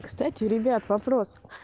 кстати ребят вопрос